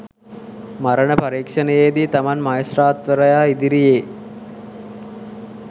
මරණ පරීක්ෂණයේදී තමන් මහේස්ත්‍රාත්වරයා ඉදිරියේ